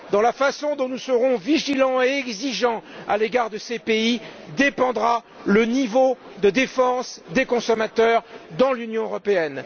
De la façon dont nous serons vigilants et exigeants à l'égard de ces pays dépendra le niveau de défense des consommateurs dans l'Union européenne.